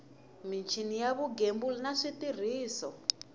michini ya vugembuli na switirhiso